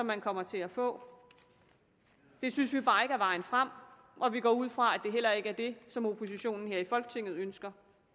man kommer til at få det synes vi bare ikke er vejen frem og vi går ud fra at det heller ikke er det som oppositionen her i folketinget ønsker